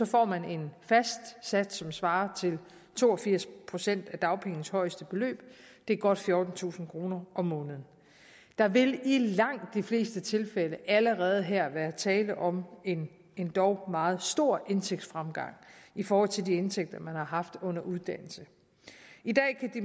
får man en fast sats som svarer til to og firs procent af dagpengenes højeste beløb det er godt fjortentusind kroner om måneden der vil i langt de fleste tilfælde allerede her være tale om en endog meget stor indtægtsfremgang i forhold til de indtægter man har haft under uddannelse